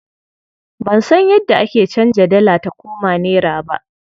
Ban san yadda ake canza dala ta koma nera ba.